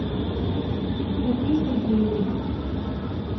софии сергеевне